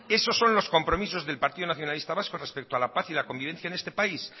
esos son los compromisos del partido nacionalista vasco respecto a la paz y a la convivencia en este país